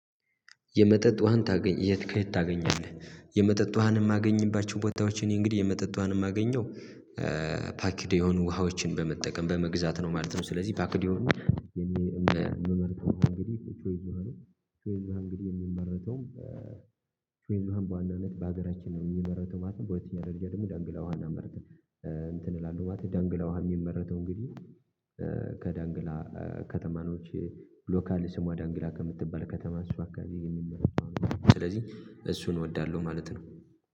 የመጠጥ ውሃን ታገኝ የት ከየት ታገኛለህ? የመጠጥ ውሃንም ማገኝባቸው ቦታዎች እኔ እንግዲህ የመጠጥ ውሃንም ማገኘው ፓክድ የሆኑ ውሃዎችን በመጠቀም በመግዛት ነው ማለት ነው። ስለዚህ ፓክድ የሆኑ ምን ማለት? ቾይዝ ውሃ ቾይዝ ዉሃ እንግዲህ የሚመረተው ቾይዝ በዋናነት በሀገራችን ነው የሚመረተው ማለት ነው። በሁለተኛ ደረጃ ደግሞ ዳንግላዋን አመረተ እንትን እላለሁ ማለት ዳንግላዋ የሚመረተው እንግዲህ ከዳንግላ ከተማኖች ሎካል ስሟ ዳንግላ ከምትባል ከተማ እሱ አካባቢ የሚመረት ዉሃ ነው። ስለዚህ እሱን እወዳለሁ ማለት ነው